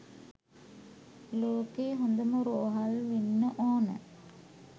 ලෝකේ හොඳම රෝහල් වෙන්න ඕන